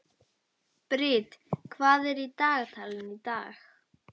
Brit, hvað er í dagatalinu í dag?